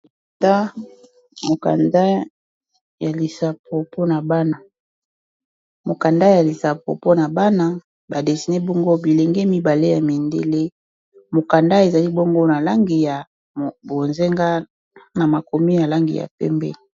Mokanda ya lisapo mpona bana badesine bongo bilenge mibale ya mindele. Mokanda ezali bongo na langi ya bozenga na makomi ya langi ya pembe.